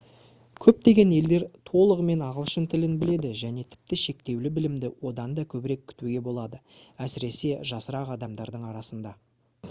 көптеген елдер толығымен ағылшын тілін біледі және тіпті шектеулі білімді одан да көбірек күтуге болады әсіресе жасырақ адамдардың арасында